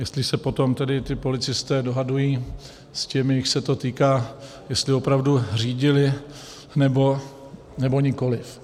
Jestli se potom tedy ti policisté dohadují s těmi, jichž se to týká, jestli opravdu řídili, nebo nikoliv.